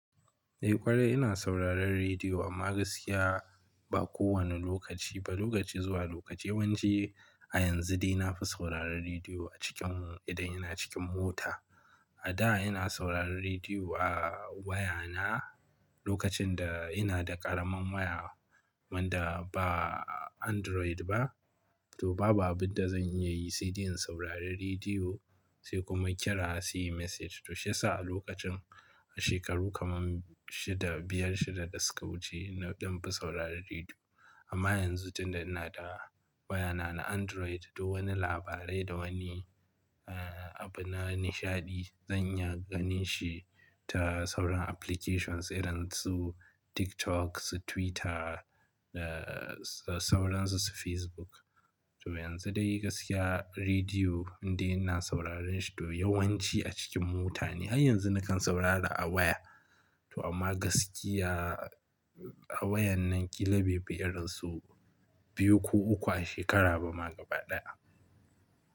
Eh ƙwarai ina sauraron rediyo amma gaskiya ba kowane lokaci ba, lokaci zuwa lokaci. Yanzu dai na fi sauraron rediyo a cikin idan ina cikin mota. A da ina sauraron rediyo a waya na lokacin da ina da ƙaramin waya wanda ba Android ba, to babu abin da zan iya yi sai dai in saurari rediyo sai kuma kira a sai message. To shiyasa a lokacin a shekaru kamar shida, biyar shida da suka wuce na ɗan fi sauraron rediyo. Amma yanzu tunda ina da waya na na Android to wani labarai da wani abu na nishaɗi zan iya ganin shi ta sauran applications irin su TikTok, su Twitter da sauran su su Facebook. To yanzu dai gaskiya rediyo indai ina sauraron shi toh yawanci a cikin mota ne. Har yanzu nakan saurara a waya, to amma gaskiya a waya nan ƙila bai fi irin su biyu ko uku a shekara ba ma gaba ɗaya.